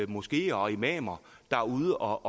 moskeer og imamer der er ude